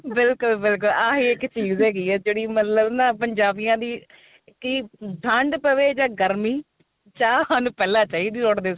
ਬਿਲਕੁਲ ਬਿਲਕੁਲ ਆਹੀ ਇੱਕ ਚੀਜ ਹੈਗੀ ਏ ਜਿਹੜੀ ਮਤਲਬ ਨਾ ਪੰਜਾਬੀਆਂ ਦੀ ਕੀ ਠੰਡ ਪਵੇ ਜਾ ਗਰਮੀ ਚਾਹ ਸਾਨੂੰ ਪਹਿਲਾਂ ਚਾਹੀਦੀ ਉਠਦੇ